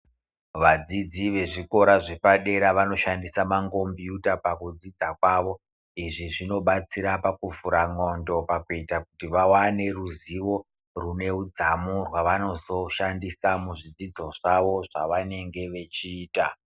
Vadzidzi vezvikora zvepadera vanoshandisa mangombiyuta pakudzidza kwavo. Izvi zvinobatsira pakuvhura ndxondo, pakuita kuti vawane ruzivo, rune udzamu rwavanozoshandisa muzvidzidzo zvavo zvavanenge vechiita.